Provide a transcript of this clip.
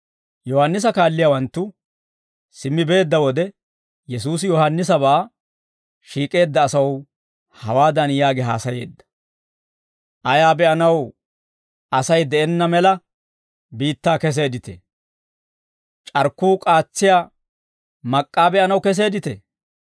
Yohaannisa kaalliyaawanttu simmi beedda wode, Yesuusi Yohaannisabaa shiik'eedda asaw hawaadan yaagi haasayeedda; «Ayaa be'anaw Asay de'enna mela biittaa keseedditee? C'arkkuu k'aatsiyaa mak'k'aa be'anaw keseedditee?